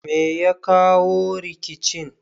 Me ya jawo rikicin